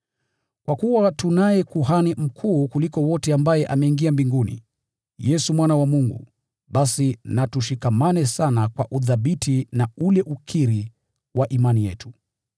Kwa kuwa tunaye Kuhani Mkuu kuliko wote ambaye ameingia mbinguni, Yesu Mwana wa Mungu, basi na tushikamane sana kwa uthabiti na ule ukiri wa imani yetu.